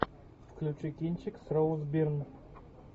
включи кинчик с роуз бирн